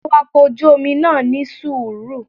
Awakọ̀ ojú Omi náà ní sùúrù